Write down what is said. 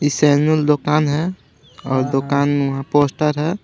ये सेनुल दुकान है और दुकान म वहां पोस्टर है.